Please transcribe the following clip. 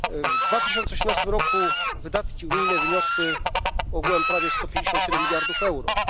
W 2018 roku wydatki unijne wyniosły ogółem prawie 157 miliardów euro.